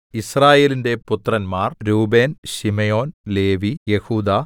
യിസ്രായേലിന്റെ പുത്രന്മാർ Reuben Simeon Levi യെഹൂദാ